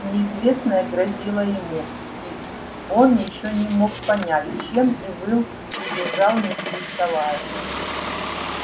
неизвестное грозило ему он ещё не мог понять чем и выл и визжал не переставая